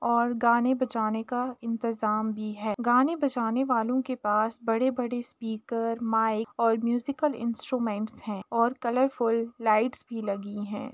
और गाने बजाने का इंतेजाम भी है। गाने बजाने वालों के पास बड़े-बड़े स्पीकर माइक और म्यूज़िक इंस्ट्रूमेंट हैऔर कलरफूल लाइट भी लगी हैं।